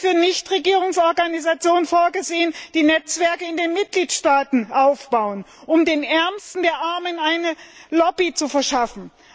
Es ist für Nichtregierungsorganisationen vorgesehen, die Netzwerke in den Mitgliedstaaten aufbauen, um den Ärmsten der Armen eine Lobby zu verschaffen.